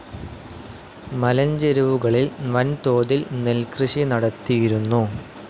മലഞ്ചെരുവുകളിൽ വൻതോതിൽ നെൽകൃഷി നടത്തിയിരുന്നു.